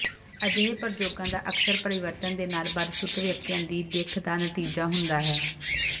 ਅਜਿਹੇ ਪ੍ਰਯੋਗਾਂ ਦਾ ਅਕਸਰ ਪਰਿਵਰਤਨ ਦੇ ਨਾਲ ਬਦਸੂਰਤ ਵਿਅਕਤੀਆਂ ਦੀ ਦਿੱਖ ਦਾ ਨਤੀਜਾ ਹੁੰਦਾ ਹੈ